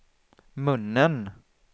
munnen